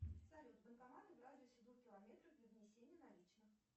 салют банкоматы в радиусе двух километров для внесения наличных